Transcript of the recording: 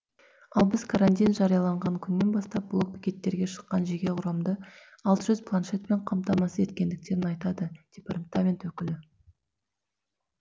ал біз карантин жарияланған күннен бастап блок бекеттерге шыққан жеке құрамды алты жүз планшетпен қамтамасыз етткендерін айтады департамент өкілі